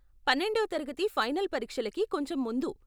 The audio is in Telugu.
పన్నెండవ తరగతి ఫైనల్ పరీక్షలకి కొంచెం ముందు.